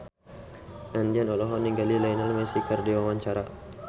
Andien olohok ningali Lionel Messi keur diwawancara